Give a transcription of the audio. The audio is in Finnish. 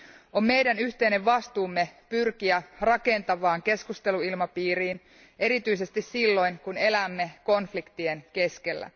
On meidän yhteinen vastuumme pyrkiä rakentavaan keskusteluilmapiiriin erityisesti silloin, kun elämme konfliktien keskellä.